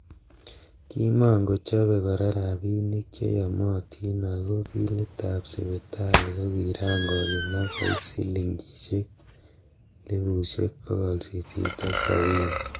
Kimon kochobe kora rabinik che yomotin ago bilitab sipital ko kiran koyumak koik silingisiek elfusiek bogol sisit ak sabini.